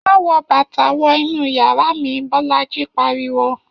Má wọ bàtà wọ inú yàrá mi!, Bọ́lájí pariwo